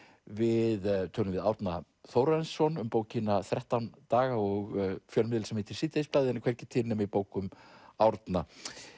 við tölum við Árna Þórarinsson um bókina þrettán daga og fjölmiðil sem heitir síðdegisblaðið en er hvergi til nema í bókum Árna